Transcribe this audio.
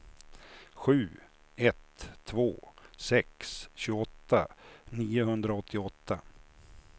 sju ett två sex tjugoåtta niohundraåttioåtta